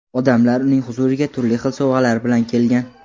Odamlar uning huzuriga turli xil sovg‘alar bilan kelgan.